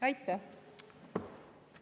Aitäh!